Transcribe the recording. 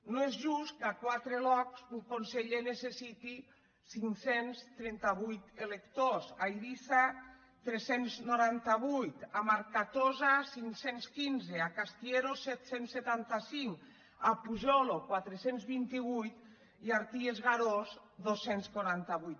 no és just que a quate lòcs un conseller necessiti cinc cents i trenta vuit electors a iris·sa tres cents i noranta vuit a marcatosa cinc cents i quinze a castièro set cents i setanta cinc a pujòlo quatre cents i vint vuit i a arties e garòs dos cents i quaranta vuit